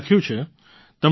તેમણે લખ્યું છે